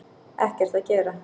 Ekkert að gera